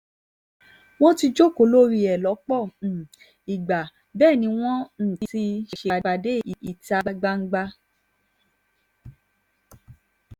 wọ́n ti jókòó lórí ẹ̀ lọ́pọ̀ um ìgbà bẹ́ẹ̀ ni wọ́n um ti ṣèpàdé ìta gbangba